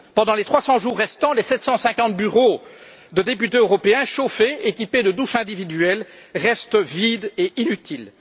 an. Pendant les 300 jours restants, les 750 bureaux des députés européens qui sont chauffés et équipés de douches individuelles restent vides et inutiles.